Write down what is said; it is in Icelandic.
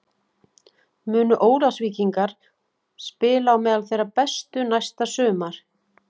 Munu Ólafsvíkingar spila á meðal þeirra bestu næsta sumar?